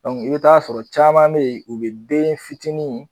i bɛ taa sɔrɔ caman bɛ ye u bɛ den fitini